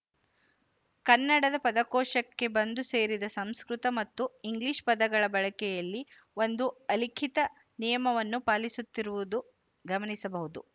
ಕನ್ನಡದ ಪದಕೋಶಕ್ಕೆ ಬಂದು ಸೇರಿದ ಸಂಸ್ಕೃತ ಮತ್ತು ಇಂಗ್ಲಿಶ ಪದಗಳ ಬಳಕೆಯಲ್ಲಿ ಒಂದು ಅಲಿಖಿತ ನಿಯಮವನ್ನು ಪಾಲಿಸುತ್ತಿರುವುದು ಗಮನಿಸಬಹುದು